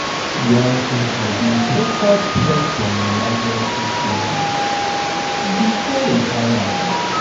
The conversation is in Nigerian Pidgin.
young people dey focus first on emergency savings before retirement.